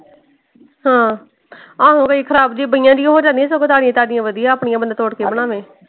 ਹਾਂ ਆਹੋ ਫੇਰ ਖ਼ਰਾਬ ਜਿਹੀ ਬਈਆਂ ਜਿਹੀਆਂ ਹੋ ਜਾਂਦੀਆਂ ਸਗੋਂ ਤਾਜ਼ੀਆਂ ਤਾਜ਼ੀਆਂ ਵਧੀਆਂ ਆਪਣੀਆਂ ਬੰਦਾ ਤੋੜ ਕੇ ਬਣਾਵੇ।